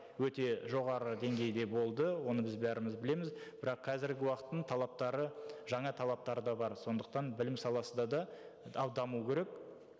өте жоғары деңгейде болды оны біз бәріміз білеміз бірақ қазіргі уақыттың талаптары жаңа талаптары да бар сондықтан білім саласы да даму керек